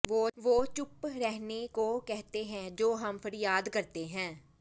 ਵੋ ਚੁਪ ਰਹਨੇ ਕੋ ਕਹਤੇ ਹੈਂ ਜੋ ਹਮ ਫਰਿਯਾਦ ਕਰਤੇ ਹੈਂ